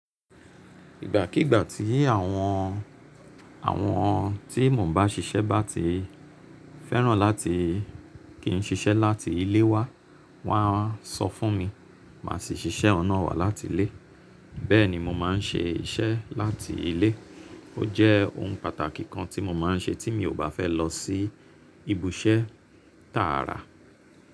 Ìgbàkígbà tí àwọn, àwọn tí mò ń bá ṣiṣẹ́ bá ti fẹ́ràn láti kí n ṣiṣẹ́ láti ilé wa, wọ́n á sọ fún mi, màá si ṣiṣẹ́ ohun nà wá láti ilé. Bẹ́ẹ̀ni mo máa n ṣe iṣẹ́ láti ilé. Ó jẹ́ ohun pàtàkì kan tí mo máa n ṣe tí mi ò bá fẹ́ lọ sí ibi iṣẹ́ tààrà.